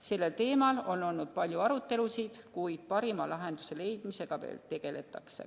Sellel teemal on olnud palju arutelusid, kuid parima lahenduse leidmisega veel tegeletakse.